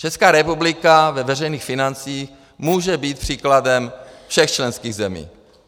Česká republika ve veřejných financích může být příkladem všech členských zemí.